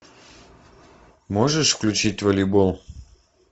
можешь включить волейбол